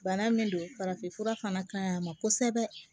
Bana min don farafinfura fana ka ɲi a ma kosɛbɛ